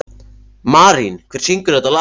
Marín, hver syngur þetta lag?